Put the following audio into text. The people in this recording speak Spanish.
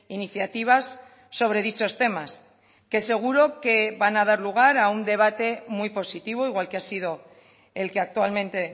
iniciativas sobre dichos temas que seguro que van a dar lugar a un debate muy positivo igual que ha sido el que actualmente